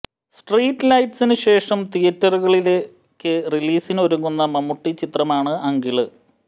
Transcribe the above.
street ലൈറ്റ്സിന് ശേഷം തിയറ്ററുകളിലേക്ക് റിലീസിനൊരുങ്ങുന്ന മമ്മൂട്ടി ചിത്രമാണ് അങ്കിള്